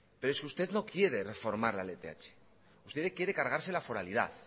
pero es que usted no quiere reformar la lth usted quiere cargarse la foralidad